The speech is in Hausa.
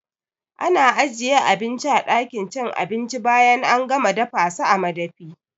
Ana ajiye abinci a ɗakin cin abinci bayan an gama dafasa a madafi